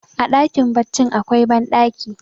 a dakin baccin akwai bandaki